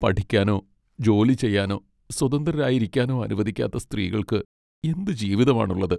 പഠിക്കാനോ ജോലി ചെയ്യാനോ സ്വതന്ത്രരായിരിക്കാനോ അനുവദിക്കാത്ത സ്ത്രീകൾക്ക് എന്ത് ജീവിതമാണുള്ളത്?